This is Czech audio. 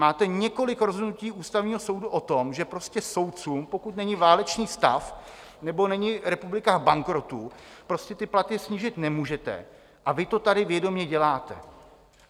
Máte několik rozhodnutí Ústavního soudu o tom, že prostě soudcům, pokud není válečný stav nebo není republika v bankrotu, prostě ty platy snížit nemůžete a vy to tady vědomě děláte.